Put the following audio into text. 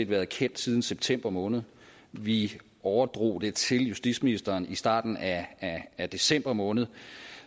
været kendt siden september måned vi overdrog det til justitsministeren i starten af af december måned